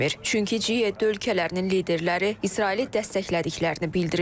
Çünki G7 ölkələrinin liderləri İsraili dəstəklədiklərini bildiriblər.